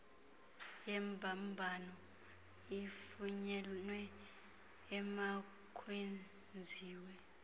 yembambano ifunyenwe emakwenziwe